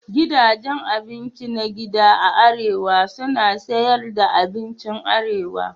Gidajen abinci na gida a arewa suna siyar da abincin arewa.